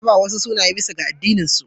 Ana ba wa wasu sunaye bisa ga addininsu.